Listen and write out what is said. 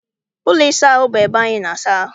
Ụlọ ịsa ahụ bụ ebe anyị na-asa ahụ.